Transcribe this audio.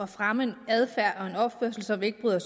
fremme en adfærd og opførsel som vi ikke bryder